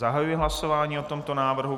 Zahajuji hlasování o tomto návrhu.